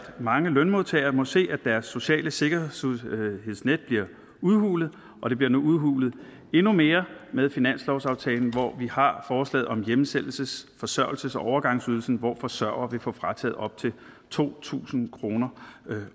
mange lønmodtagere må se at deres sociale sikkerhedsnet bliver udhulet og det bliver nu udhulet endnu mere med finanslovsaftalen hvor vi har forslaget om hjemsendelses forsørgelses og overgangsydelsen hvor forsørgere vil få frataget op til to tusind kroner